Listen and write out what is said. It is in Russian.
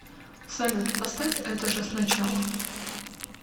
салют поставь это же сначала